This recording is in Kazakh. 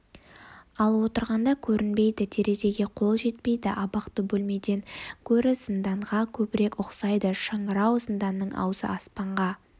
ал отырғанда көрінбейді терезеге қол жетпейді абақты бөлмеден гөрі зынданға көбірек ұқсайды шыңырау зынданның аузы аспанға